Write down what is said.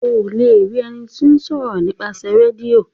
O le rí ení tíó ṣòro :nípasẹ Rédíò.